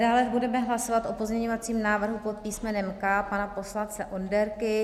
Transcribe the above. Dále budeme hlasovat o pozměňovacím návrhu pod písmenem K pana poslance Onderky.